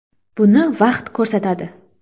Buni vaqt ko‘rsatadi.